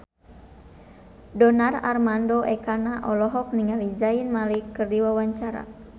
Donar Armando Ekana olohok ningali Zayn Malik keur diwawancara